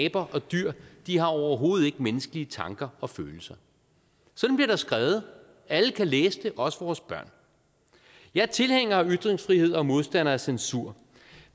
aber og dyr de har overhovedet ikke menneskelige tanker og følelser sådan bliver der skrevet alle kan læse det også vores børn jeg er tilhænger af ytringsfrihed og modstander af censur